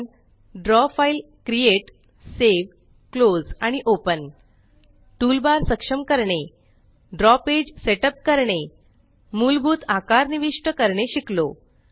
आपण draw file create save close आणि open toolbar सक्षम करणे ड्रॉ पेज सेट अप करणे मुलभूत आकार निविष्ट करणे शिकलो